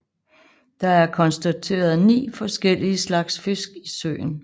Der er konstateret ni forskellige slags fisk i søen